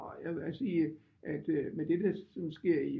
Og jeg vil også sige med det der sker i